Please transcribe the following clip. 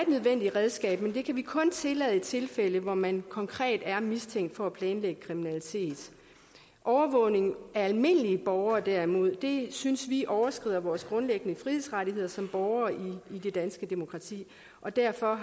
redskab men det kan vi kun tillade i tilfælde hvor man konkret er mistænkt for at planlægge kriminalitet overvågning af almindelige borgere derimod synes vi overskrider vores grundlæggende frihedsrettigheder som borgere i det danske demokrati og derfor